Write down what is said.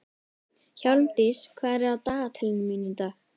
Hjálmdís, hvað er á dagatalinu mínu í dag?